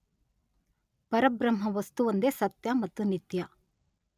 ಪರಬ್ರಹ್ಮ ವಸ್ತುವೊಂದೇ ಸತ್ಯ ಮತ್ತು ನಿತ್ಯ.